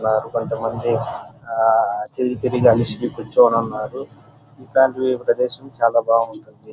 కొంతమంది ఆ తిరిగి తిరిగి అలిసి కూర్చుని ఉన్నారు ఇట్లాంటివి ప్రదేశము చాలా బాగుంటుంది.